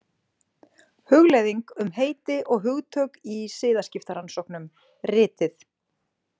"Hugleiðing um heiti og hugtök í siðaskiptarannsóknum "", Ritið."